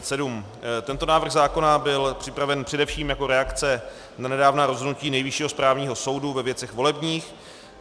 Tento návrh zákona byl připraven především jako reakce na nedávná rozhodnutí Nejvyššího správního soudu ve věcech volebních.